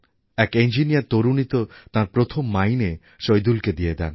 এক ইঞ্জিনিয়ার তরুণী তো তাঁর প্রথম মাইনে সইদুলকে দিয়ে দেন